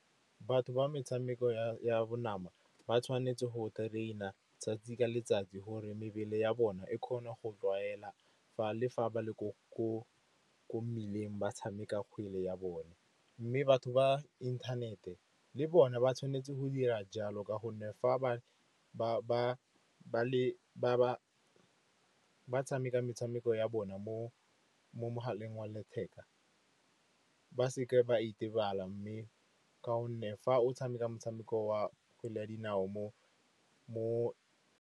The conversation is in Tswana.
Batho ba metshameko ya bonama ba tshwanetse go train-a 'tsatsi ka letsatsi gore mebele ya bona e kgona go tlwaela le fa ba le ko mmileng ba tshameka kgwele ya bone. Mme batho ba inthanete le bone ba tshwanetse go dira jalo ka gonne fa ba tshameka metshameko ya bona mo mogaleng wa letheka, ba seke ba itebala. Mme ka gonne fa o tshameka motshameko wa kgwele ya dinao mo.